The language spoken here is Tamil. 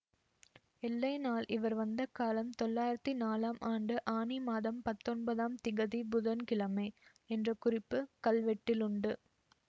எல்லை நாள் இவர் வந்த காலம் தொள்ளாயிரத்து நாலாம் ஆண்டு ஆனி மாதம் பத்தொன்பதாம் திகதி புதன்கிழமை என்ற குறிப்பு கல் வெட்டிலுண்டு